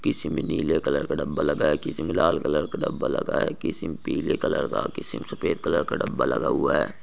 पीछे मे नीले कलर का डब्बा लगा है किसीमे लाल कलर का डब्बा लगा है किसीमे पीले कलर का किसीमे सफ़ेद कलर का डब्बा लगा हुआ है।